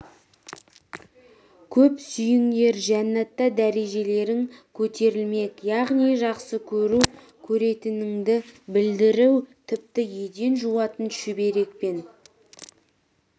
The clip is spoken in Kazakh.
көп сүйіңдер жәннатта дәрежелерің көтерілмек яғни жақсы көру жақсы көретініңді білдіру тіпті еден жуатын шүберекпен